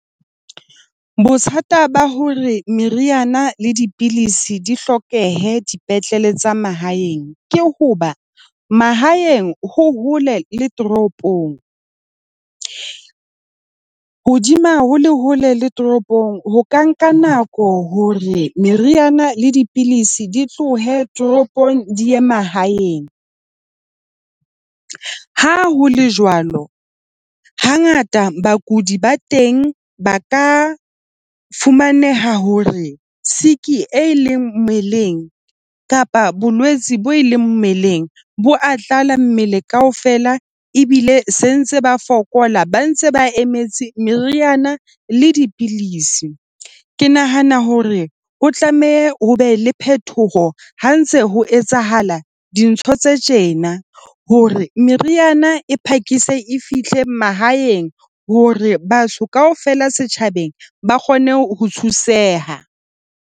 Bothata ba hore meriana le dipidisi di hlokehe dipetlele tsa mahaeng ke hoba mahaeng, ho hole le toropong. Hodima ho le hole le toropong, ho ka nka nako hore meriana le dipidisi di tlohe toropong di ye mahaeng. Ha ho le jwalo hangata bakudi ba teng ba ka fumaneha hore e leng mmeleng kapa bolwetsi bo e leng mmeleng. Bo a tlala mmele kaofela ebile se ntse ba fokola, ba ntse ba emetse meriana le dipidisi. Ke nahana hore o tlameha ho be le phetoho ha ntse ho etsahala dintho tse tjena, hore meriana e phakise e fihle mahaeng hore batho kaofela setjhabeng ba kgone ho thuseha.